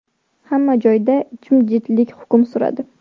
Hamma joyda jimjitlik hukm suradi.